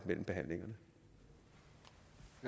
mellem behandlingerne